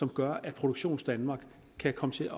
gør at produktionsdanmark kan komme til